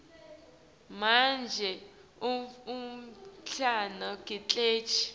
sikhungo sekucwaninga imbewu